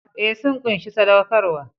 Ee, sun ƙunshi saɗaukarwa.